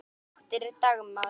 Þín dóttir, Dagmar.